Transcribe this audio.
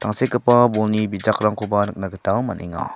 tangsekgipa bolni bijakrangkoba nikna gita man·enga.